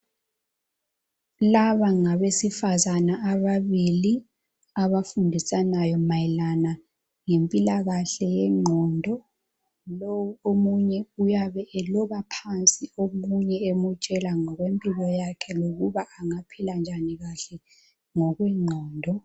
Laba ngabesifazana ababili abafundisanayo mayelana ngempilakahle yengqondo. Lowu omunye uyabe eloba phansi omunye emtshela ngokwempilo yakhe lokuba angaphila njani kahle ngokwengqondo.